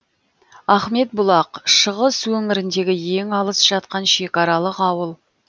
ахметбұлақ шығыс өңіріндегі ең алыс жатқан шекаралық ауыл